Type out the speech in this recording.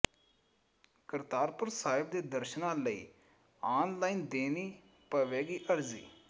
ਕਰਤਾਰਪੁਰ ਸਾਹਿਬ ਦੇ ਦਰਸ਼ਨਾਂ ਲਈ ਆਨਲਾਈਨ ਦੇਣੀ ਪਵੇਗੀ ਅਰਜ਼ੀ